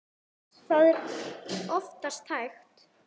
Það er oftast hægt.